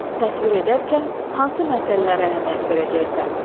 Təsvir edərkən hansı məsələlərə əhəmiyyət verəcəksən?